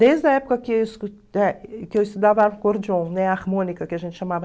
Desde a época que que eu estudava acordeon, né, harmônica que a gente chamava.